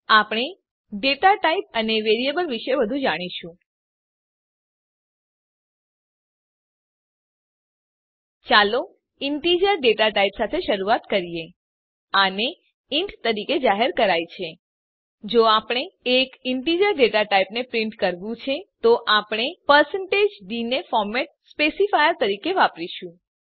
આપણે data type અને variable વિશે વધું જાણીશું ચાલો ઇન્ટેજર ડેટા ટાઇપ સાથે શરૂઆત કરીએ આને ઇન્ટ તરીકે જાહેર કરાય છે જો આપણે એક ઇન્ટેજર ડેટા ટાઇપને પ્રીંટ કરવું છે તો આપણે d ને ફોર્મેટ સ્પેસીફાયર તરીકે વાપરીશું